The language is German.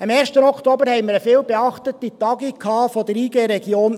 Am 1. Oktober hatten wir eine viel beachtete Tagung der Interessengemeinschaft (IG)